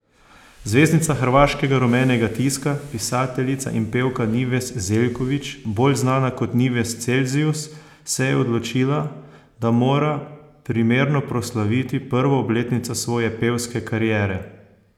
Zvezdnica hrvaškega rumenega tiska, pisateljica in pevka Nives Zeljković, bolj znana kot Nives Celzijus, se je odločila, da mora primerno proslaviti prvo obletnico svoje pevske kariere.